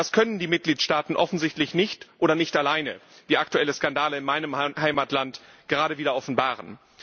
Das können die Mitgliedstaaten offensichtlich nicht oder nicht alleine, wie aktuelle Skandale in meinem Heimatland gerade wieder offenbaren.